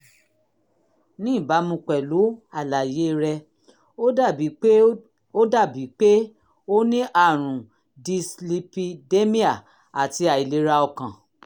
ní ìbámu pẹ̀lú àlàyé rẹ ó dàbí pé ó dàbí pé o ní àrùn dyslipidemia àti àìlera ọkàn